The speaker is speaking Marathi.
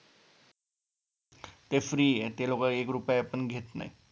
ते free ये ते लोकं एक रुपया पण घेत नाहीत